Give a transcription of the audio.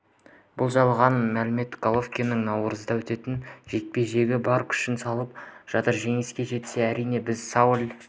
бұл жалған мәлімет головкин наурызда өтетін жекпе-жекке бар күшін салып жатыр жеңіске жетсе әрине біз сауль